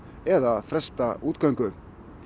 eða fresta útgöngu